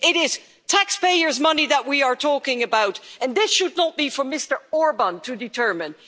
It is taxpayers' money that we are talking about, and this should not be for Mr Orbán to determine.